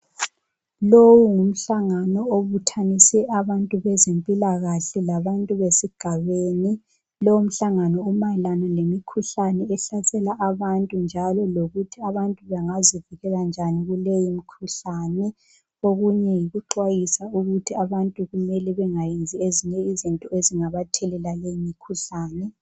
Lowu ngumhlangano obuthanise abantu bezempilakahle labantu besigabeni, lowu mhlangano umayelana lemikhuhlane ehlasela abantu njalo lokuthi abantu bengazivikela njani kuleyo mikhuhlane. Okunye yikuxwayisa ukuthi abantu kumele bengayenzi izinto ezingabathelela leyi mikhuhlane.